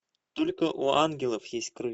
только у ангелов есть крылья